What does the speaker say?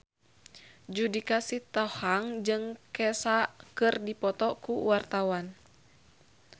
Judika Sitohang jeung Kesha keur dipoto ku wartawan